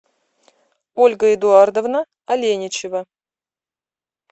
ольга эдуардовна аленичева